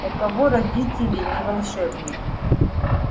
у кого родители не волшебники